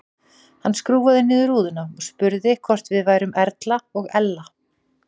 Hann skrúfaði niður rúðuna og spurði hvort við værum Erla og Ella.